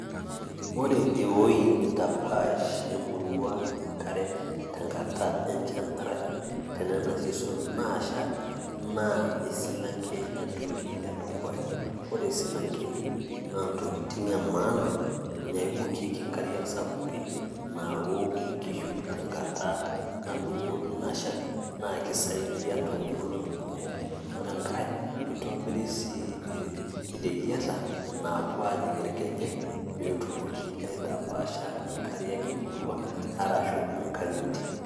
ore ewueji nitapaash emurua enkare te nkata enchan arashu tenana season naasha naa esilanke entoki edukuya, ore silankeni, naa ntokitin emaana naibokiki inkariak sapukin, naok inkishu tenkata nadung'o ina shan naa kisaidia too nkolong'i kumok. ore enake naa kitobiri sii ireyiata naapuo aaajing irkejek, arashu naapuo aajing' inkang'itie.